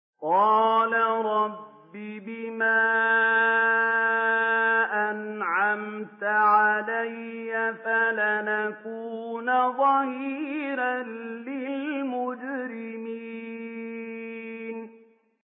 قَالَ رَبِّ بِمَا أَنْعَمْتَ عَلَيَّ فَلَنْ أَكُونَ ظَهِيرًا لِّلْمُجْرِمِينَ